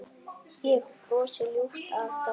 Ég brosi ljúft að þessu.